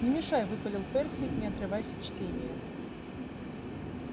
не мешай выпалил перси не отрываясь от чтения